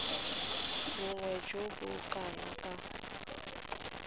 bonnye jo bo kana ka